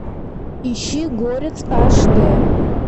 ищи горец аш д